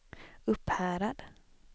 Upphärad